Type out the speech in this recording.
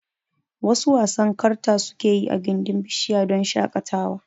Wasu wasan karta sukeyi I gindin bishara don shaƙatawa